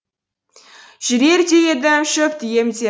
жүрер де едім шөпті емдеп